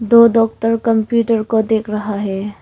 दो doctor computer को देख रहा है।